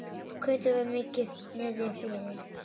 Kötu var mikið niðri fyrir.